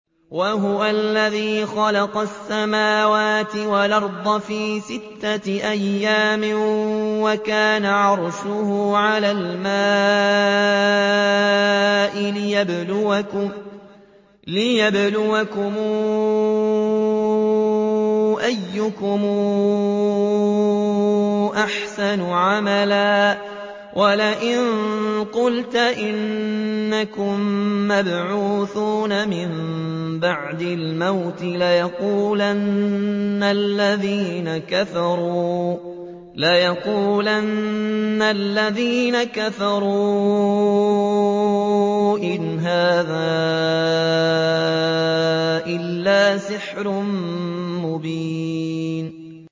وَهُوَ الَّذِي خَلَقَ السَّمَاوَاتِ وَالْأَرْضَ فِي سِتَّةِ أَيَّامٍ وَكَانَ عَرْشُهُ عَلَى الْمَاءِ لِيَبْلُوَكُمْ أَيُّكُمْ أَحْسَنُ عَمَلًا ۗ وَلَئِن قُلْتَ إِنَّكُم مَّبْعُوثُونَ مِن بَعْدِ الْمَوْتِ لَيَقُولَنَّ الَّذِينَ كَفَرُوا إِنْ هَٰذَا إِلَّا سِحْرٌ مُّبِينٌ